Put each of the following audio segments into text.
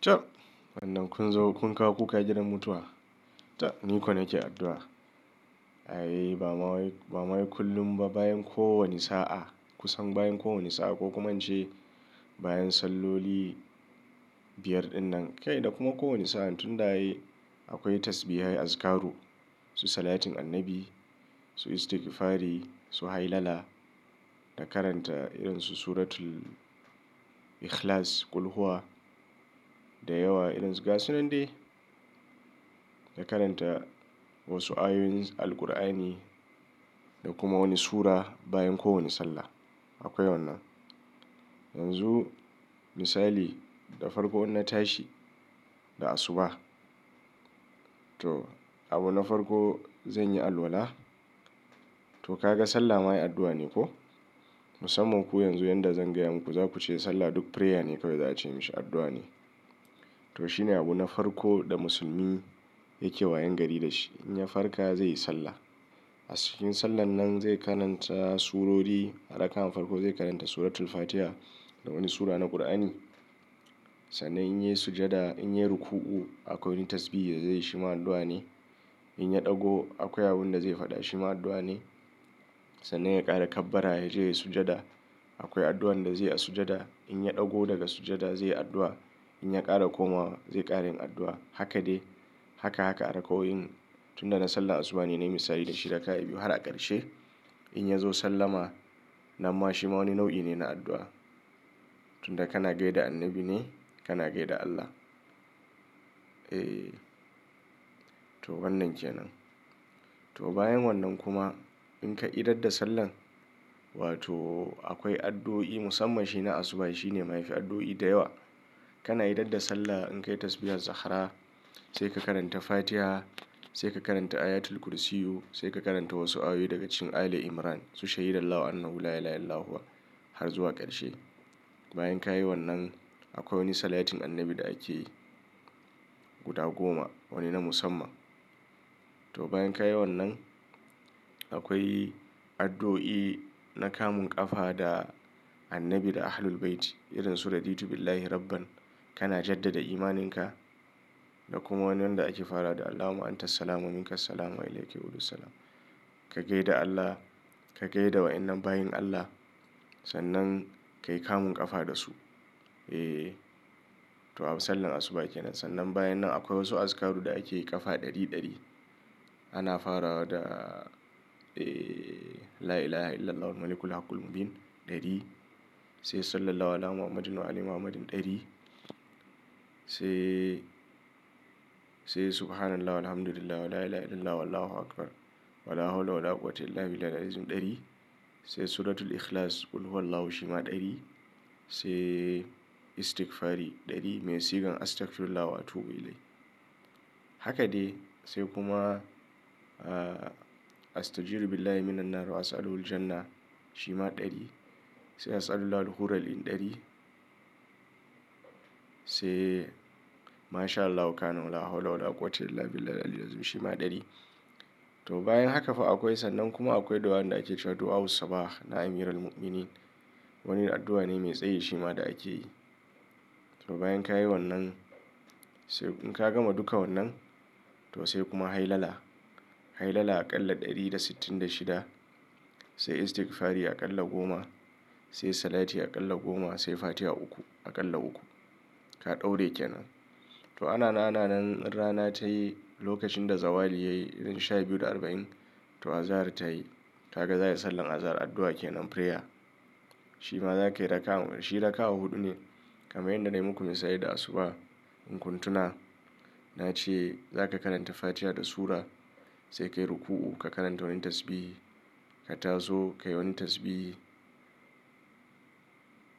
Chop! Wannan kun zo kun kawo kukagidan mutuwa ta, ni kau nake addu'a. Ai ba ma wa ba ma wa kullum ba bayan kowane sa'a, kusan bayan kowane sa'a ko kuma an ce bayan salloli biyar ɗin nan kai da kuma kowane sa'a tun da ayi akwai tasbiha azikaru su salatin annabi, su istigfari, su hailala da karanta irin su suratul Ikhlas, Kulhuwa da yawa irin su gasu nan dai. Da karanta wasu ayoyin Alqur'ani da kuma wani sura bayan kowane sallah akwai wannan. Yanzu misali da farko in na tashi da asuba to abu na farko zanyi alwalla. To ka ga sallah ma yi addu'a ne ko? Musamman ku yanzu yanda zan gaya muku za kuce sallah duk prayer ne kawai za a ce mishi addu'a ne. To shine abu na farko da musulmi yake wayangari da shi. In ya farka zai yi sallah. A cikin sallan nan zai karanta surori. A raka, an farko zai karanta suratul Fatiha da wani sura na Qur'ani. Sannan in yayi sujada, in yayi ruku'u akwai wani tasbihin da zai yi shi ma addu'a ne. In ya ɗago akwai abun da zai faɗa shi ma addu'a ne. Sannan ya ƙara kabbara ya je yayi sujada akwai addu'ar da zai yi a sujada. In ya ɗago daga sujada zai yi addu'a. In ya ƙara komawa zai ƙara yin addu'a. Haka dai. Haka haka a raka'oyin. Tunda na sallah asuba ne na yi misali da shi da ka raka, a biyu har a ƙarshe in ya zo sallama, nan ma shi ma wani nau'i ne na addu'a. Tunda kana gaida annabi ne, kana gaida Allah. Eh, to wannan ke nan. To bayan wannan kuma in ka idar da sallan, wato akwai addu'o'i musamman shi na asuba shi ne mafi addu'o'i da yawa. Kana idar da sallah in ka yi tasbihar Zahra sai ka karanta Fatiha, sai ka karanta ayatul kursiyu, sai ka karanta wasu ayoyi daga cikin Ale Imran su shaidan law annahu lailaha illallahu har zuwa ƙarshe. Bayan ka yi wannan akwai wani salatin annabi da ake yi guda goma wani na musamman. To bayan ka yi wannan akwai addu'o'i na kamun ƙafa da annabi da ahlul baiti irin sura ditubillahi rabban. Kana jaddada imaninka da kuma wani wanda ake fara da Allahumma anta salamu min kas salamu alayke qulu salam. Ka gaida Allah, ka gaida wa in nan bayan Allah sannan ka yi kamun ƙafa da su. Eh, to sallar asuba ke nan. Sannan bayan nan akwai wasu azikaru da ake yi ƙafa ɗari ɗari. Ana farawa da eh lailaha illallah wal malikul haqqul mubin ɗari sai Sallallahu Ala Muhammadin wa ale Muhammadin ɗari sai, sai subhanallah wal hamdulillahi wa lailaha illallah wallahu akbar wala hawla wala quwwata illa billahil aliyyil azim ɗari sai suratul Ikhlas Kulhuwallahu shima ɗari sai istigfari ɗari mai sigar astagfirullah wa atubu ilai. Haka dai sai kuma a-astajiru billahi minan nar wa as'aluhu jannah shima ɗari sai as'alullahi hurral in ɗari sai mashallah wa qana wala hawla wala quwwata illa billahil aliyyil azim shima ɗari. To bayan haka fa akwai sannan kuma akwai addu'ar da ake cewa addu'a wussabah na amiral muminin. Wani addu'a ne mai tsayi shima da ake yi. To bayan ka yi wannan sai in ka gama duka wannan to sai kuma hailala. Hailala aƙalla ɗari da sittin da shida sai istigfari aƙalla goma sai salati aƙalla goma sai fatiha uku aƙalla uku. Ka ɗaura yake nan. To ana nan ana nan rana tayi lokacin da zawali yayi irin sha biyu da arba'in to azahar tayi. Ka ga za ka yi sallan azahar addu'a ke nan prayer. Shima za ka yi raka shi raka'a huɗu ne kamar yadda na yi muku misali da asuba. In kun tuna na ce za ka karanta fatiha da sura sai ka yi ruku'u ka karanta wani tasbih, ka tazo ka yi wani tasbih,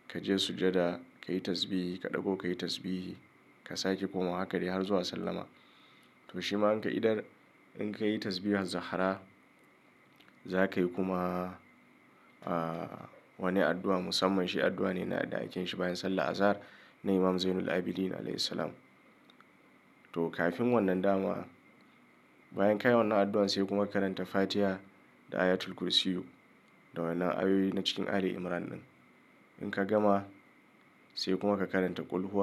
ka je sujada ka yi tasbih, ka ɗago ka yi tasbih, ka sake komawa haka dai har zuwa sallama. To shima in ka idar in ka yi tasbihar Zahra za ka yi kuma a wani addu'a musamman shi addu'a ne na da aikin shi bayan sallar azahar na Imam Zainul Abidin Alaihi Salam. To kafin wannan dama bayan ka yi wannan addu'ar sai kuma ka karanta fatiha da ayatul kursiyu da wannan ayoyi na cikin Ale Imran nan. In ka gama sai kuma ka karanta Kulhuwa.